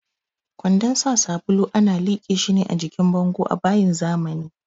Kwandon sa sabulu ana liƙe shi ne a jikin bango a bayin zamani.